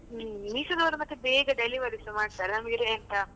Meesho ದವರು ಮತ್ತೆ ಬೇಗ delivery ಸ ಮಾಡ್ತಾರೆ, ನಮಗೆಲ್ಲಾ ಎಂತ.